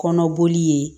Kɔnɔboli ye